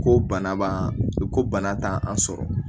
Ko bana b'an ko bana t'an an sɔrɔ